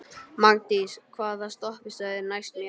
Magndís, hvaða stoppistöð er næst mér?